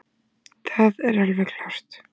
Það er alveg klárt